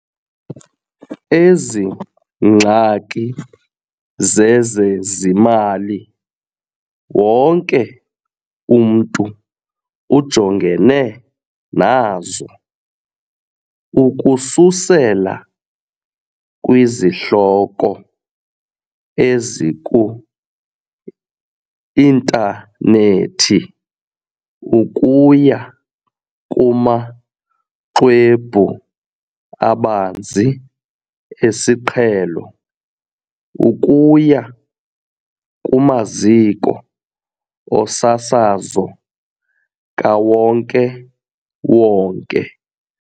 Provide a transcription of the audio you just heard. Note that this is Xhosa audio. Ezi ngxaki zezezimali wonke umntu ujongene nazo, ukususela kwizihloko eziku-intanethi ukuya kumaxhwebhu abanzi esiqhelo ukuya kumaziko osasazo kawonke-wonke.